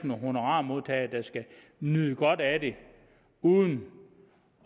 nogle honorarmodtagere der skal nyde godt af det uden